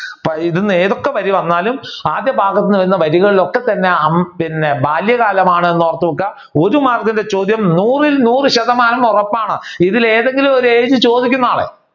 ഇതിൽ നിന്ന് ഏതൊക്കെ വഴി വന്നാലും വഴികളിൽ ഒക്കെ തന്നെ പിന്നെ ഹും ബാല്യകാലമാണെന്ന് ഓർത്തുവെക്കുക ഒരു മാർക്കിന്റെ ചോദ്യം നൂറിൽ നൂർ ശതമാനവും ഉറപ്പാണ് ഇതിൽ ഏതെങ്കിലും ഒരെണ്ണം ചോദിക്കുന്നതാണ്.